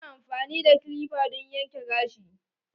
Ana amfani da kilipa don yanke gashi.